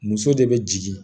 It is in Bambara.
Muso de bɛ jigin